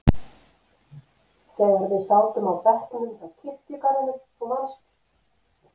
þegar við sátum á bekknum hjá kirkjugarðinum, þú manst.